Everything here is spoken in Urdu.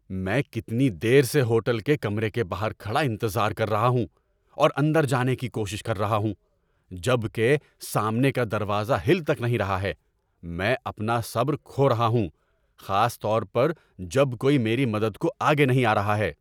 میں کتنی دیر سے ہوٹل کے کمرے کے باہر کھڑا انتظار کر رہا ہوں اور اندر جانے کی کوشش کر رہا ہوں، جب کہ سامنے کا دروازہ ہل تک نہیں رہا ہے! میں اپنا صبر کھو رہا ہوں، خاص طور پر جب کوئی میری مدد کو آگے نہیں آ رہا ہے۔